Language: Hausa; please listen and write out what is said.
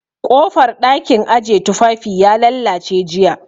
Ƙofar ɗakin aje tufafi ya lallace jiya